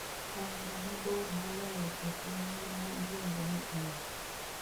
aora mabor moloyo e piny ngima iluongo ni aje